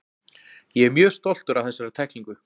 Ég er mjög stoltur af þessari tæklingu.